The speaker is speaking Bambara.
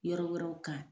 Yɔrɔ wɛrɛw kan